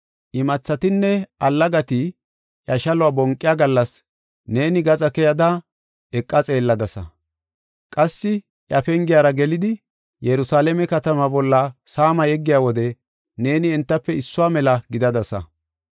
Imathatinne allagati iya shaluwa bonqiya gallas neeni gaxa keyada eqa xeelladasa. Qassi iya pengera gelidi, Yerusalaame katamaa bolla saama yeggiya wode neeni entafe issuwa mela gidadasa.